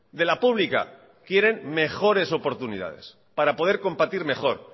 de la pública quieren mejores oportunidades para poder competir mejor